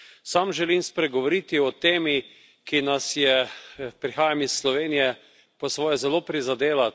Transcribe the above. Sam želim spregovoriti o temi, ki nas je, prihajam iz Slovenije, po svoje zelo prizadela.